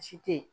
Si tɛ ye